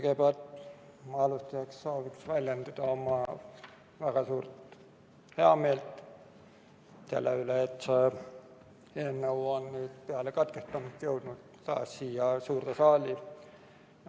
Kõigepealt alustuseks soovin väljendada oma väga suurt heameelt selle üle, et see eelnõu on peale katkestamist nüüd jõudnud siia suurde saali.